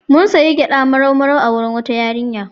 Mun sayi gyaɗa marau-marau a wurin wata yarinya.